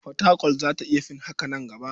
Fatakwal za ta iya fin haka a nan gaba.